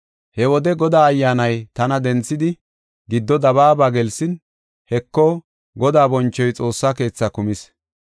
He wode Godaa Ayyaanay tana denthidi, giddo dabaaba gelsin, Heko, Godaa bonchoy Xoossa keethaa kumis.